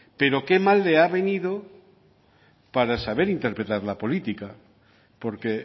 pero que mal le ha venido para saber interpretar la política porque